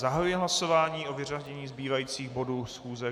Zahajuji hlasování o vyřazení zbývajících bodů schůze.